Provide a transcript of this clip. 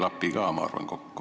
See ei klapi, ma arvan, kokku.